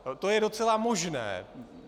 To je docela možné.